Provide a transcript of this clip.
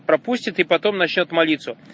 пропустят и потом начнёт молиться